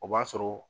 O b'a sɔrɔ